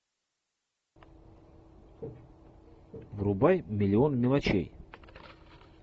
врубай миллион мелочей